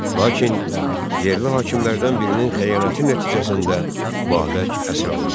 Lakin yerli hakimlərdən birinin xəyanəti nəticəsində Babək əsir alındı.